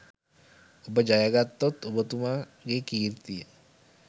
ඔබ ජයගත්තොත් ඔබතුමාගේ කීර්තිය